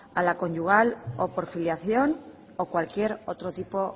a la conyugal o por filiación o cualquier otro tipo